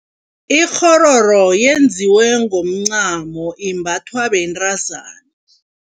Ikghororo yenziwe ngomncamo imbathwa bentazana.